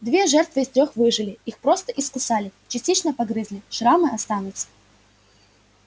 две жертвы из трёх выжили их просто искусали частично погрызли шрамы останутся